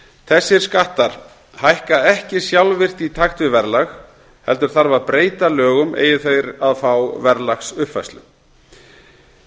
þessir skattar hækka ekki sjálfvirkt í takt við verðlag heldur þarf að breyta lögum eigi þeir að fá verðlagsuppfærslu erfitt